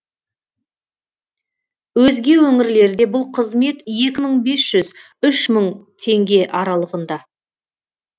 өзге өңірлерде бұл қызмет екі мың бес жүз үш мың теңге аралығында